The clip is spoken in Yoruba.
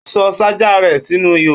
Ó sọ ṣájà rẹ sínú ihò